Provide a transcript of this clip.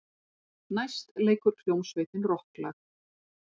Næst leikur hljómsveitin rokklag.